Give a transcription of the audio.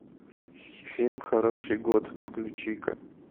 фильм хороший год включи ка